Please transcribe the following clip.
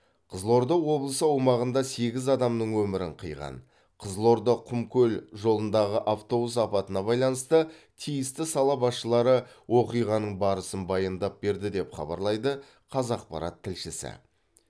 қызылорда облысы аумағында сегіз адамның өмірін қиған қызылорда құмкөл жолындағы автобус апатына байланысты тиісті сала басшылары оқиғаның барысын баяндап берді деп хабарлайды қазақпарат тілшісі